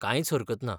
कांयच हरकत ना.